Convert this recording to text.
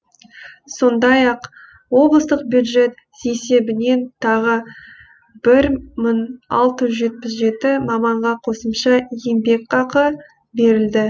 сондай ақ облыстық бюджет есебінен тағы бір мың алты жүз жетпіс жеті маманға қосымша еңбекақы берілді